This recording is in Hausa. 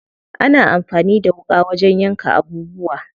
Ana amfani da wuƙa wajen yanka abubuwa.